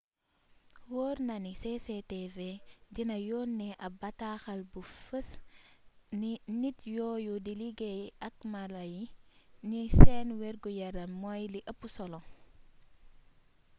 woor na ni cctv dina yónnee ab bataaxal bu fees nit yooyu di liggéey ak mala yi ni seen wergu-yaram moy li eup solo